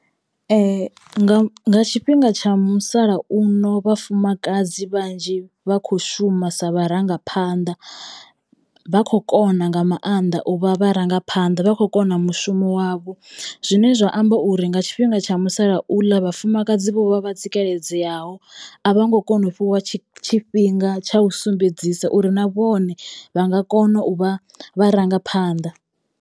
Nga nga tshifhinga tsha musalauno vhafumakadzi vhanzhi vha kho shuma sa vharangaphanḓa. Vha kho kona nga maanḓa u vha vharangaphanḓa vha khou kona mushumo wavho zwine zwa amba uri nga tshifhinga tsha musalauḽa vhafumakadzi vho vha vha tsikeledzeyaho a vha ngo kona u fhiwa tshi tshifhinga tsha u sumbedzisa uri na vhone vha nga kono u vha vharangaphanḓa.